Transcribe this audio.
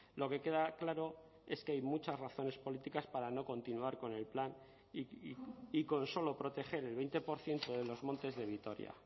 lo que queda claro es que hay muchas razones políticas para no continuar con el plan y con solo proteger el veinte por ciento de los montes de vitoria